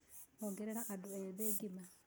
Ongerera andũ ethĩ ngima